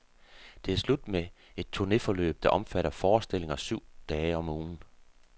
Det er slut med et turnéforløb, der omfatter forestillinger syv dage om ugen.